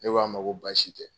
Ne k'a ma ko baasi tɛ.